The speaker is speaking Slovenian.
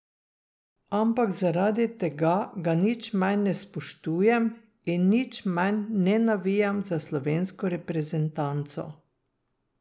Ampak zaradi tega ga nič manj ne spoštujem in nič manj ne navijam za slovensko reprezentanco.